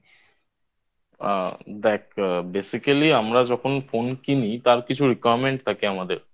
আ দেখ Basically আমরা যখন Phone কিনি তার কিছু Requirement থাকে আমাদের